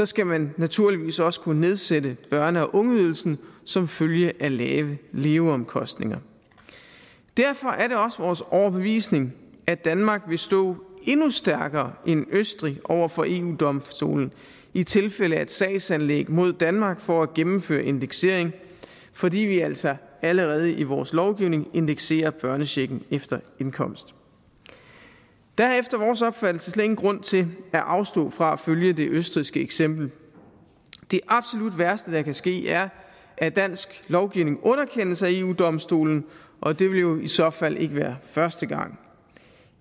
skal man naturligvis også kunne nedsætte børne og ungeydelsen som følge af lave leveomkostninger derfor er det også vores overbevisning at danmark vil stå endnu stærkere end østrig over for eu domstolen i tilfælde af et sagsanlæg mod danmark for at gennemføre indeksering fordi vi altså allerede i vores lovgivning indekserer børnechecken efter indkomst der er efter vores opfattelse slet ingen grund til at afstå fra at følge det østrigske eksempel det absolut værste der kan ske er at dansk lovgivning underkendes af eu domstolen og det ville jo i så fald ikke være første gang